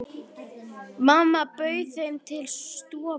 Mamma bauð þeim til stofu.